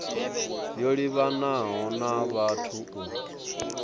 yo livhanaho na vhathu u